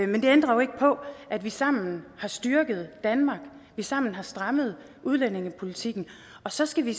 men det ændrer jo ikke på at vi sammen har styrket danmark at vi sammen har strammet udlændingepolitikken og så skal vi